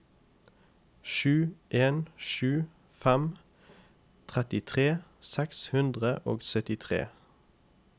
sju en sju fem trettitre seks hundre og syttitre